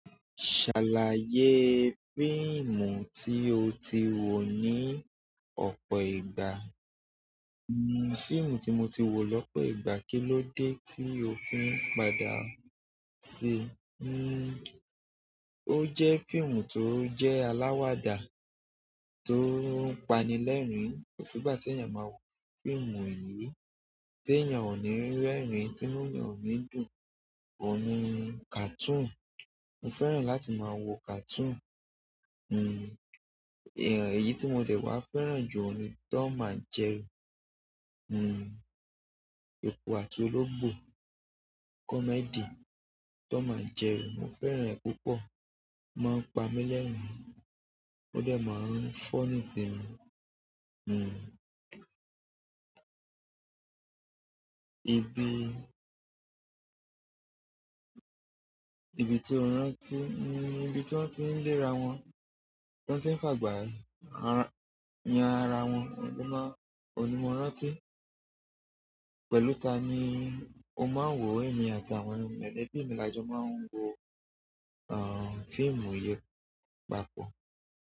Ṣàlàyé fíìmù tí o ti wò ní ọ̀pọ̀ ìgbà. Hmm, fíìmù tí mo ti wò lọ́pọ̀ ìgbà, kí ló dé tí òfin padà ṣe? Ó jẹ́ fíìmù tó jẹ́ aláwàdà tó ń pani lẹ́rìn-ín. Kò sí ìgbà tí èèyàn máa wò fíìmù ìyè, tí èèyàn ò ní rí rẹ́rìn-ín, tí inú èèyàn ò ní dùn. Òun ni cartoon. Mo fẹ́ràn láti máa wo cartoon. Èyí tí mo dẹ̀ wá fẹ́ràn jù ni Tom and Jerry. Eku àti ológbò. Comedy, Tom and Jerry, mo fẹ́ràn rẹ̀ púpọ̀. Mo máa ń pa mí lẹ́rìn-ín, ó dẹ̀ máa ń funny si mi. Ibi, ibi tí ó ń rántí, ibi tí wọ́n ti ń lé ara wọn, tí wọ́n ti ń fàgbà han ara wọn, òun ni mo ń rántí. Pẹ̀lú ta ni o máa ń wò ẹ̀mí àti àwọn molẹ̀bí ni àjọ máa ń wo, fíìmù yen papọ̀?